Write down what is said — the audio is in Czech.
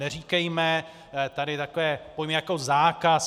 Neříkejme tady takové pojmy jako zákaz.